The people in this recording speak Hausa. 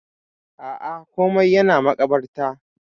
Aa, komai yana makabarta.